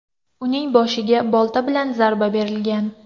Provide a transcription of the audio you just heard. Uning boshiga bolta bilan zarba berilgan.